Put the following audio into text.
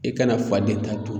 I kana fa de ta dun.